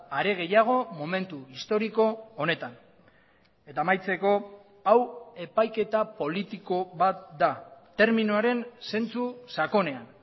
are gehiago momentu historiko honetan eta amaitzeko hau epaiketa politiko bat da terminoaren zentzu sakonean